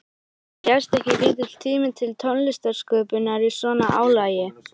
En gefst ekki lítill tími til tónlistarsköpunar í svona álagi?